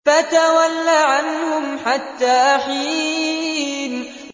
فَتَوَلَّ عَنْهُمْ حَتَّىٰ حِينٍ